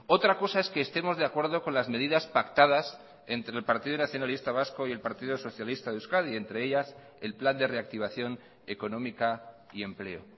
otra cosa es que estemos de acuerdo con las medidas pactadas entre el partido nacionalista vasco y el partido socialista de euskadi entre ellas el plan de reactivación económica y empleo